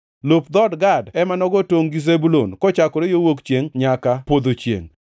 Lop dhood Gad ema nogo tongʼ gi Zebulun kochakore wuok chiengʼ nyaka podho chiengʼ.